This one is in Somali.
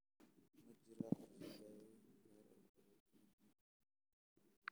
Ma jiro qorshe daaweyn gaar ah oo loogu talagalay xanuunka SAPHOGA.